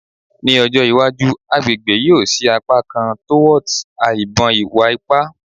Ni ojo iwaju agbegbe yoo si apakan torwards a ibon iwa-ipa